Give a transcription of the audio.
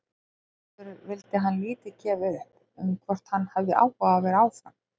Aðspurður vildi hann lítið gefa upp um hvort hann hefði áhuga á að vera áfram.